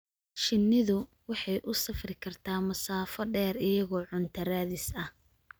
Shinnidu waxay u safri kartaa masaafo dheer iyagoo cunto raadis ah.